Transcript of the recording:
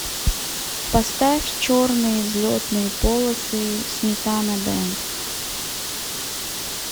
поставь черные взлетные полосы сметана бэнд